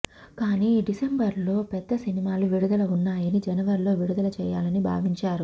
కాని డిసెంబర్లో పెద్ద సినిమాలు విడుదల ఉన్నాయని జనవరిలో విడుదల చేయాలని భావించారు